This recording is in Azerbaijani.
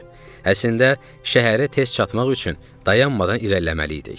Əslində, şəhərə tez çatmaq üçün dayanmadan irəliləməliydik.